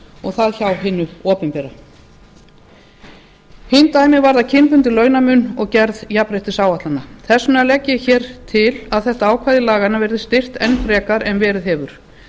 og það hjá hinu opinbera hin dæmin varða kynbundinn launamun og gerð jafnréttisáætlana þess vegna legg ég til að þetta ákvæði laganna verði styrkt enn frekar en verið hefur